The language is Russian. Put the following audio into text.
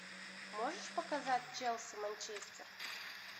можешь показать челси манчестер